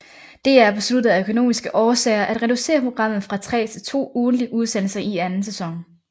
DR besluttede af økonomiske årsager at reducere programmet fra tre til to ugentlige udsendelser i anden sæson